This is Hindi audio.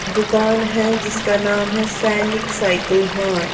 दुकान है जिसका नाम है सैनिक साइकल मार्ट। --